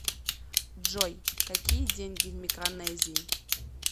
джой какие деньги в микронезии